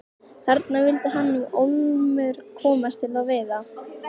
Þangað vildi hann nú ólmur komast til að veiða.